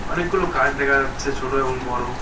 অনেকগুলো গাছ দেখা যাচ্ছে ছোট এবং বড়ো।